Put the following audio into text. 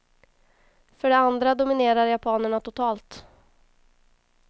För det andra dominerar japanerna totalt.